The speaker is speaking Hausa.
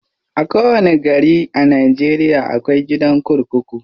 A kowanni gari a Najeriya akwai gidan kurkuku.